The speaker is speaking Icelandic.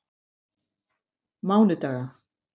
mánudaga